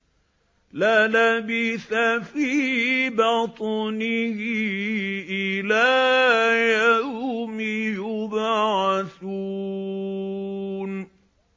لَلَبِثَ فِي بَطْنِهِ إِلَىٰ يَوْمِ يُبْعَثُونَ